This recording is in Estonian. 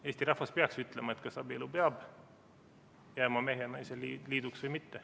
Eesti rahvas peaks ütlema, kas abielu peab jääma mehe ja naise liiduks või mitte.